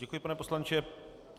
Děkuji, pane poslanče.